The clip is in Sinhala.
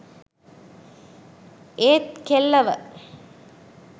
ඒත් කෙල්ලව